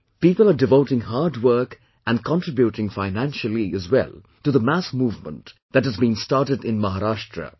People are devoting hard work and contributing financially as well to the mass movement that has been started in Maharashtra,